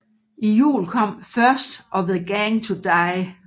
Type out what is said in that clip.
I juli kom First Of The Gang To Die